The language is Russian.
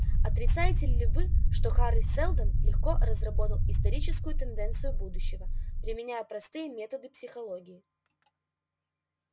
отрицаете ли вы что хари сэлдон легко разработал историческую тенденцию будущего применяя простые методы психологии